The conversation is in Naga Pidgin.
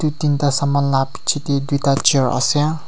tinti ta saman la piche te duita chair ase.